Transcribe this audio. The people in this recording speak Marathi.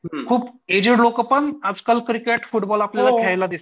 खूप एजेड लोकं पण आजकाल क्रिकेट फुटबॉल आपल्याला खेळायला दिसतात.